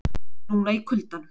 Núna í kuldanum.